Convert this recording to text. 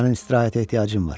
Sənin istirahətə ehtiyacın var.